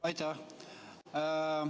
Aitäh!